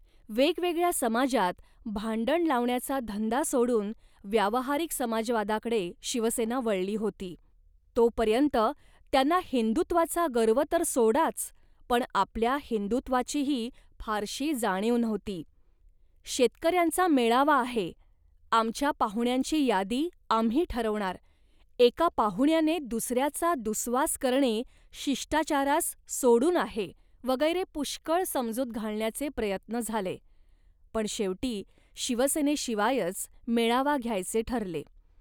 वेगवेगळ्या समाजांत भांडण लावण्याचा धंदा सोडून व्यावहारिक समाजवादाकडे शिवसेना वळली होती, तोपर्यंत त्यांना हिंदुत्वाचा गर्व तर सोडाच, पण आपल्या हिंदुत्वाचीही फारशी जाणीव नव्हती. शेतकऱ्यांचा मेळावा आहे' आमच्या पाहुण्यांची यादी आम्ही ठरवणार, एका पाहुण्याने दुसऱ्याचा दुस्वास करणे शिष्टाचारास सोडून आहे, वगैरे पुष्कळ समजूत घालण्याचे प्रयत्न झाले, पण शेवटी शिवसेनेशिवायच मेळावा घ्यायचे ठरले